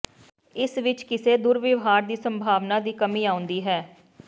ਇਸ ਵਿੱਚ ਕਿਸੇ ਦੁਰਵਿਹਾਰ ਦੀ ਸੰਭਾਵਨਾ ਦੀ ਕਮੀ ਆਉਂਦੀ ਹੈ